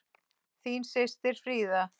Þín systir, Fríða.